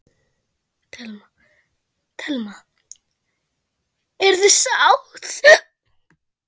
Telma: Eruð þið sátt?